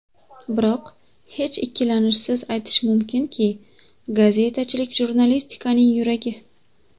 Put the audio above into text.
Biroq hech ikkilanishsiz aytish mumkinki, gazetachilik jurnalistikaning yuragi.